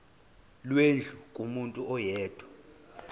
lwendlu kumuntu oyedwa